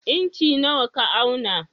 Inci nawa ka auna?